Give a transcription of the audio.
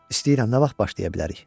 İstəyirəm, nə vaxt başlaya bilərik?